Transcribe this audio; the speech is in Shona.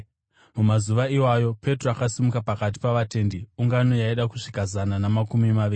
Mumazuva iwayo, Petro akasimuka pakati pavatendi (ungano yaida kusvika zana namakumi maviri)